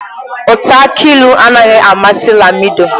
Ụtọ aki ịlụ anaghị amasị Lamido.